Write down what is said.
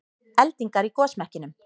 Eldingar í gosmekkinum